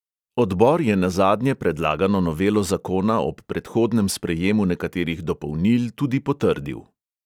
Odbor je nazadnje predlagano novelo zakona ob predhodnem sprejemu nekaterih dopolnil tudi potrdil.